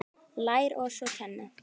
Lær oss að kenna